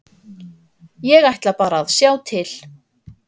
Ég ætla bara að sjá til.